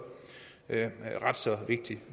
ret så vigtigt